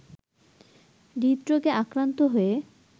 হৃদরোগে আক্রান্ত হয়ে